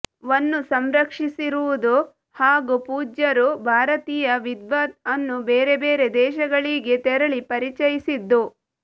ವನ್ನು ಸಂರಕ್ಷಿಸಿರುವುದು ಹಾಗೂ ಪೂಜ್ಯರು ಭಾರತೀಯ ವಿದ್ವತ್ ಅನ್ನು ಬೇರೆ ಬೇರೆ ದೇಶಗಳಿಗೆ ತೆರಳಿ ಪರಿಚಯಿಸಿದ್ದು